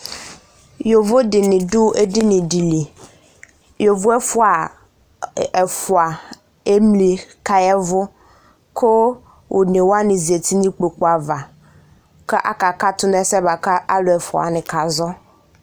Yovo dɩnɩ dʋ edini dɩ li, yovo ɛfʋa emli kʋ aya ɛvʋ, kʋ one wanɩ zati nʋ ikpoku ava, kʋ akakatʋ nʋ ɛsɛ bʋa kʋ alʋ ɛfʋa wanɩ kazɔ